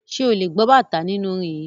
Ṣé ò lè gbọ́ bàtá nínú orin yìí.